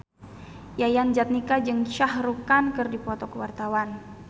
Yayan Jatnika jeung Shah Rukh Khan keur dipoto ku wartawan